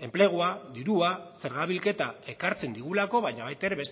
enplegua dirua zerga bilketa ekartzen digulako baina baita ere